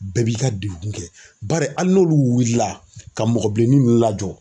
Bɛɛ b'i ka dekun kɛ bari hali n'olu wulila ka mɔgɔ bilennin ninnu lajɔ